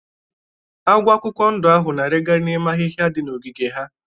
Agwọ akwụkwọ ndụ ahụ na-arigari n'ime ahiha dị na ogiige ha.